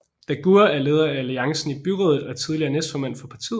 Dagur er leder af Alliancen i byrådet og tidligere næstformand for partiet